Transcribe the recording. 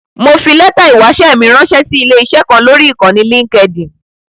Mo fi lẹ́tà ìwáṣẹ́ mi ránṣẹ́ sí ilé-iṣẹ́ kan lọ́rí Ìkànnì Linkedin.